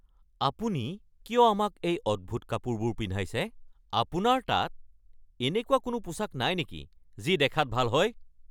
আপুনি কিয় আমাক এই অদ্ভুত কাপোৰবোৰ পিন্ধাইছে? আপোনাৰ তাত এনেকুৱা কোনো পোছাক নাই নেকি যি দেখাত ভাল হয়?